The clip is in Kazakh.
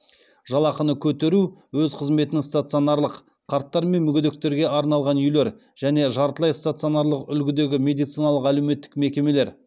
жалақыны көтеру өз қызметін стационарлық қарттар мен мүгедектерге арналған үйлер және жартылай стационарлық үлгідегі медициналық әлеуметтік мекемелер